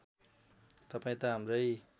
तपाईँ त हाम्रै